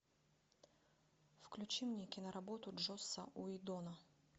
включи мне киноработу джосса уидона